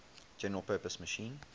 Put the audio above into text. general purpose machine